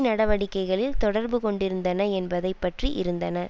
நடவடிக்கைகளில் தொடர்பு கொண்டிருந்தன என்பதை பற்றி இருந்தன